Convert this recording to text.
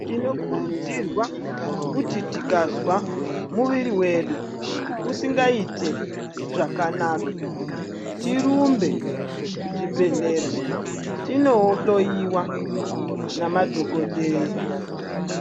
Tinokurudzirwa kuti tikazwa muviri wedu usingaite zvakanaka tirumbe kuchibhedhlera tinohloyiwe nemadhokodheya.